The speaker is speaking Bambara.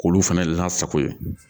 K'olu fana lasago yen